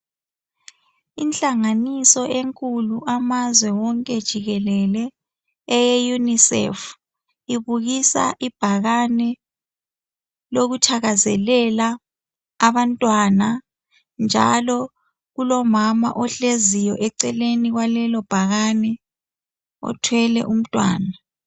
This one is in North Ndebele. Inhlanganiso enkulu amazwe wonke jikelele eye UNICEF ibukasa ibhakane lokuthakazelela abantwana njalo kulomama ohleziyo eceleni kwalelo bhakane othwele umntwana.